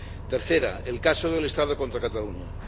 Tercera el caso del Estado contra Cataluña.